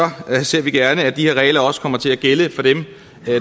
ser vi gerne at de her regler også kommer til at gælde for dem